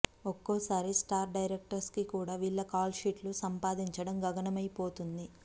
ఒక్కోసారి star directors కు కూడా వీళ్ల కాల్షీట్స్ సంపాదించడం గగనమైపోతుంది